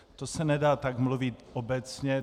To se nedá tak mluvit obecně.